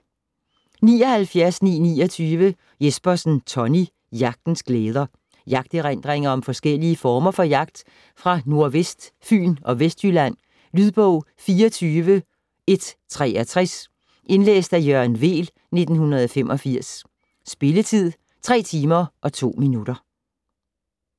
79.929 Jespersen, Tonny: Jagtens glæder Jagterindringer om forskellige former for jagt fra nord-vest Fyn og Vestjylland. Lydbog 24163 Indlæst af Jørgen Weel, 1985. Spilletid: 3 timer, 2 minutter.